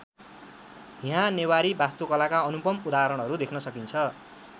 यहाँ नेवारी वास्तुकलाका अनुपम उदाहरणहरू देख्न सकिन्छ।